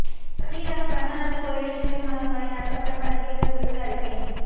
ஸ்ரீரங்கம் ரங்கநாதர் கோயிலில் ஜூலை மாதம் வரை நடத்தப்படும் பண்டிகைகள் குறித்து அறிக்கை